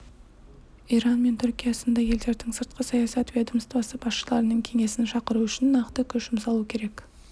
иран мен түркия сынды елдердің сыртқы саясат ведомствосы басшыларының кеңесін шақыру үшін нақты күш жұмсалу керек